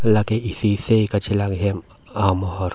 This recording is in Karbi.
lake isi seh kachelang ahem amohor.